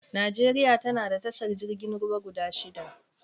Najeriya tana da tashar jirgin ruwa guda shida